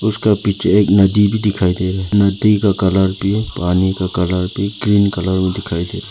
उसके पीछे एक नदी भी दिखाई दे रही। नदी का कलर भी पानी का कलर भी क्रीम कलर में दिखाई दे रहे।